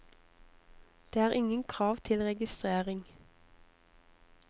Det er ingen krav til registrering.